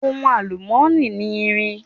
Ohun àlùmọ́nì ni irin.